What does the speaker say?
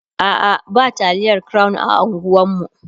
a'a ba taliyar crown a unguwanmu